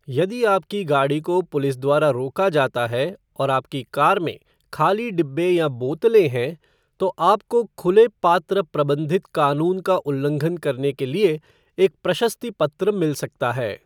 यदि आपके गाड़ी को पुलिस द्वारा रोका जाता है और आपकी कार में खाली डिब्बे या बोतलें हैं, तो आपको खुले पात्र प्रबंधित कानून का उल्लंघन करने के लिए एक प्रशस्ति पत्र मिल सकता है।